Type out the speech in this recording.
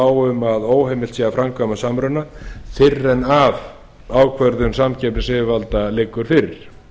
á um að óheimilt sé að framkvæma samruna fyrr en ákvörðun samkeppnisyfirvalda liggur fyrir í